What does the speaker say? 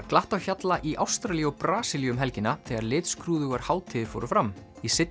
glatt á hjalla í Ástralíu og Brasilíu um helgina þegar litskrúðugar hátíðir fór fram í